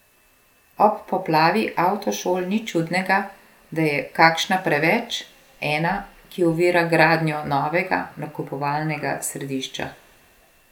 Ob poplavi avtošol ni čudnega, da je kakšna preveč, ena, ki ovira gradnjo novega nakupovalnega središča ...